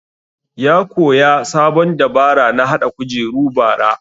Ya koya sabon dabara na haɗa kujeru bara